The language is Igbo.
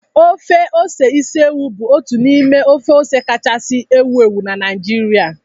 Ofe ose isi ewu bụ otu n'ime ofe ose kachasị ewu ewu na Naịjirịa